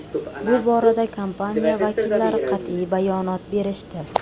Bu borada kompaniya vakillari qat’iy bayonot berishdi.